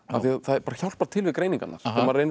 hjálpar til við greiningarnar þegar maður reynir að